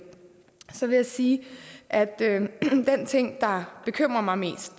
så vil jeg sige at den ting der bekymrer mig mest